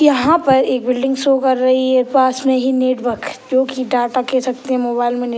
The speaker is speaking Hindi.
यहाँ पर एक बिल्डिंग शो कर रही है पास में ही नेटवर्क जो की डाटा के छतरी मोबाइल में ने --